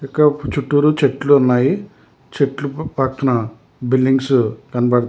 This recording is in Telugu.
ఇక చుట్టూరు చెట్లు ఉన్నాయి చెట్లు పక్కన బిల్డింగ్స్ కనబడుతూ.